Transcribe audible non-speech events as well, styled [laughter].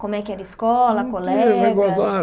Como é que era a escola, Não tinha [unintelligible] colegas?